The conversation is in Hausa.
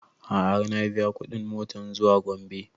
A'a har na biya kuɗin motan zuwa gombe